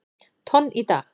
tonn í dag.